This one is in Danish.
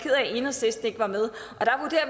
enhedslisten ikke var med